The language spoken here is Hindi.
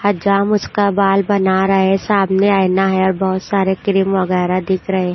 हजाम उसका बाल बना रहे हैं सामने आईना है और बहुत सारे क्रीम वगैरह दिख रहे हैं।